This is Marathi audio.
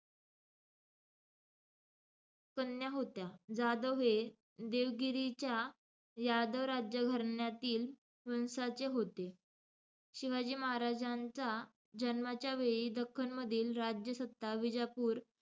कन्या होत्या. जाधव हे देवगिरीच्या यादव राज्यघराण्यातील वंशाचे होते. शिवाजी महाराजांच्या जन्माच्या वेळी दख्खनमधील राज्यसत्ता विजापूर,